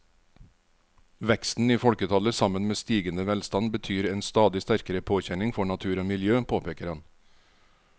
Veksten i folketallet sammen med stigende velstand betyr en stadig sterkere påkjenning for natur og miljø, påpeker han.